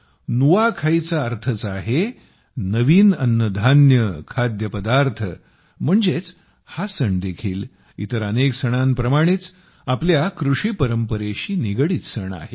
नुआखाई चा अर्थच आहे नवीन अन्नधान्य खाद्यपदार्थ म्हणजेच हा सण देखील इतर अनेक सणांप्रमाणेच आपल्या कृषी परंपरेशी निगडित सण आहे